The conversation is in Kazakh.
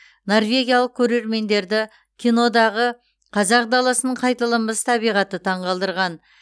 норвегиялық көрермендерді кинодағы қазақ даласының қайталанбас табиғаты таңқалдырған